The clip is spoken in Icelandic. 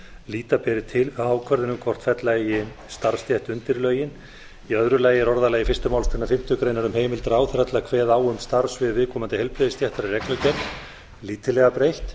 líta beri til ákvörðun um hvort fella eigi starfsstétt undir lögin í öðru lagi er orðalagi fyrstu málsgrein fimmtu grein um heimild ráðherra til að kveða á um starfssvið viðkomandi heilbrigðisstéttar í reglugerð lítillega breytt